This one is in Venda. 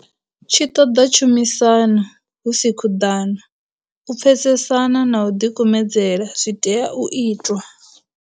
Tshi ṱoḓa tshumisano, hu si khuḓano. U pfesesana na u ḓikumedzela zwi tea u itwa.